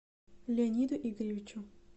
леониду игоревичу